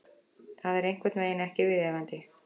Það er einhvernveginn ekki viðeigandi.